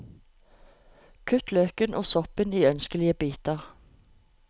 Kutt løken og soppen i ønskelige biter.